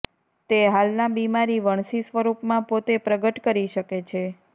તે હાલના બીમારી વણસી સ્વરૂપમાં પોતે પ્રગટ કરી શકે છે